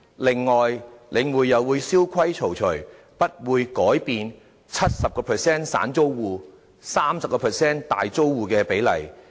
此外，領匯又會蕭規曹隨，不會改變 70% 散租戶、30% 大租戶的比例。